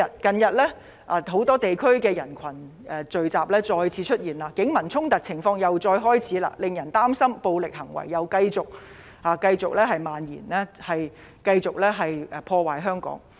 近日很多地區再次出現人群聚集活動，警民衝突情況亦再次出現，令人擔心暴力行為繼續蔓延，繼續破壞香港。